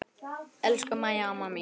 Elsku Mæja amma mín.